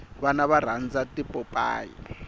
vana va rhandza tipopayi